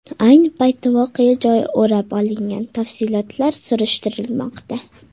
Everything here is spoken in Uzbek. Ayni paytda voqea joyi o‘rab olingan, tafsilotlar surishtirilmoqda.